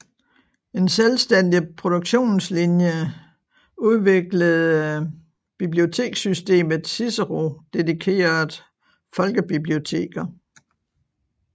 En selvstændig produktionlinje udviklede bibliotekssystemet Cicero dedikeret folkebiblioteker